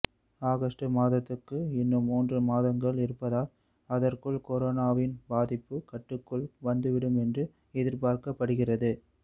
August மாதத்துக்கு இன்னும் மூன்று மாதங்கள் இருப்பதால் அதற்குள் கொரோனாவின் பாதிப்பு கட்டுக்குள் வந்துவிடும் என்று எதிர்பார்க்கப்படுகிறது